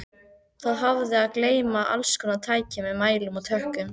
Það hafði að geyma allskonar tæki með mælum og tökkum.